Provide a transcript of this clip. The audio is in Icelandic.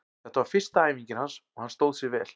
Þetta var fyrsta æfingin hans og hann stóð sig vel.